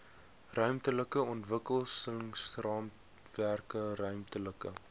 ruimtelike ontwikkelingsraamwerke ruimtelike